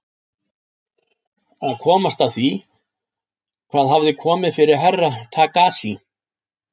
Að komast að því hvað hafði komið fyrir Herra Takashi.